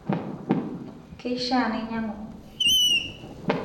keishaa nainyiang'u eng'arri